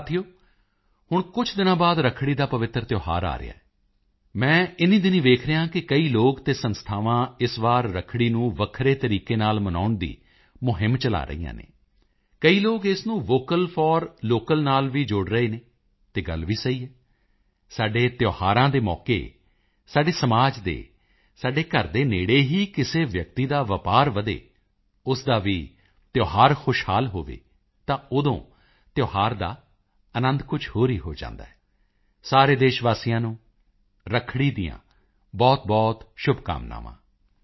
ਸਾਥੀਓ ਹੁਣ ਕੁਝ ਦਿਨਾਂ ਬਾਅਦ ਰੱਖੜੀ ਦਾ ਪਵਿੱਤਰ ਤਿਓਹਾਰ ਆ ਰਿਹਾ ਹੈ ਮੈਂ ਇਨ੍ਹੀਂ ਦਿਨੀਂ ਵੇਖ ਰਿਹਾ ਹਾਂ ਕਿ ਕਈ ਲੋਕ ਅਤੇ ਸੰਸਥਾਵਾਂ ਇਸ ਵਾਰੀ ਰੱਖੜੀ ਨੂੰ ਵੱਖ ਤਰੀਕੇ ਨਾਲ ਮਨਾਉਣ ਦੀ ਮੁਹਿੰਮ ਚਲਾ ਰਹੀਆਂ ਹਨ ਕਈ ਲੋਕ ਇਸ ਨੂੰ ਵੋਕਲ ਫੋਰ ਲੋਕਲ ਨਾਲ ਵੀ ਜੋੜ ਰਹੇ ਹਨ ਅਤੇ ਗੱਲ ਵੀ ਸਹੀ ਹੈ ਸਾਡੇ ਤਿਓਹਾਰਾਂ ਦੇ ਮੌਕੇ ਸਾਡੇ ਸਮਾਜ ਦੇ ਸਾਡੇ ਘਰ ਦੇ ਨੇੜੇ ਹੀ ਕਿਸੇ ਵਿਅਕਤੀ ਦਾ ਵਪਾਰ ਵਧੇ ਉਸ ਦਾ ਵੀ ਤਿਓਹਾਰ ਖੁਸ਼ਹਾਲ ਹੋਵੇ ਤਾਂ ਉਦੋਂ ਤਿਓਹਾਰ ਦਾ ਅਨੰਦ ਕੁਝ ਹੋਰ ਹੀ ਹੋ ਜਾਂਦਾ ਹੈ ਸਾਰੇ ਦੇਸ਼ ਵਾਸੀਆਂ ਨੂੰ ਰੱਖੜੀ ਦੀਆਂ ਬਹੁਤਬਹੁਤ ਸ਼ੁਭਕਾਮਨਾਵਾਂ